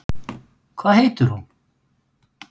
Hvað heitir hún?